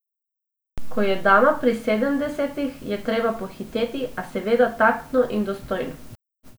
Ko je dama pri sedemdesetih, je treba pohiteti, a seveda taktno in dostojno.